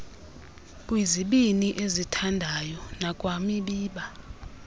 kwizibini ezithandayo kwanakwimiba